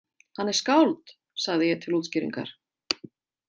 Hann er skáld, sagði ég til útskýringar.